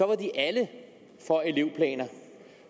var de alle for elevplaner